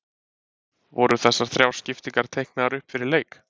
Voru þessar þrjár skiptingar teiknaðar upp fyrir leik?